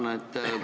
Tänan!